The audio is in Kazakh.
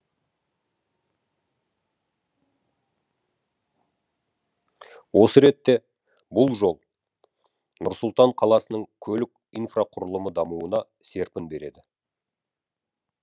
осы ретте бұл жол нұр сұлтан қаласының көлік инфрақұрылымы дамуына серпін береді